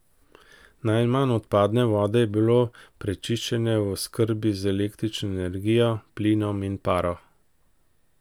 Najmanj odpadne vode je bilo prečiščene v oskrbi z električno energijo, plinom in paro.